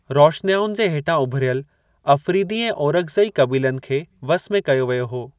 रौशनियाउनि जे हेठां उभिरियल अफरीदी ऐं ओरकज़ई कबीलनि खे वस में कयो वियो हो।